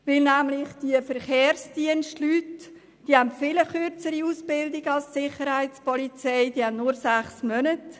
Die Leute im Verkehrsdienst haben eine viel kürzere Ausbildung hinter sich als die Sicherheitspolizisten.